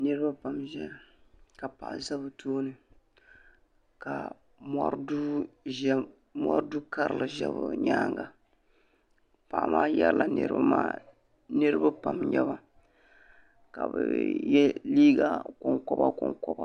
Niriba pam n ʒɛya ka paɣa za bɛ tooni ka mori Du'karili ʒɛ bɛ nyaanga paɣa maa yerila niriba maa niriba pam n nyɛba ka bɛ ye liiga konkoba konkoba.